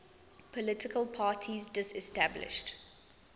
political parties disestablished